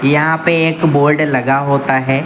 यहां पे एक बोर्ड लगा होता है।